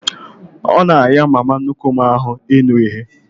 Ọ na ahịa mama nnukwu m ahụ ịnụ ihe